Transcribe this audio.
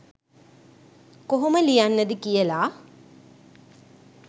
කොහොම ලියන්නද කියලා.